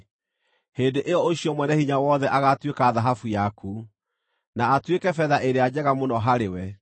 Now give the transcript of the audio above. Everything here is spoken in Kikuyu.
hĩndĩ ĩyo ũcio Mwene-Hinya-Wothe agaatuĩka thahabu yaku, na atuĩke betha ĩrĩa njega mũno harĩ we.